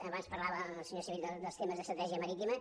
abans parlava el senyor civit dels temes d’estratègia marítima